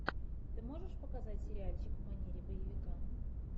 ты можешь показать сериальчик в манере боевика